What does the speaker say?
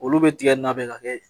Olu bi tigɛ na bɛ ka kɛ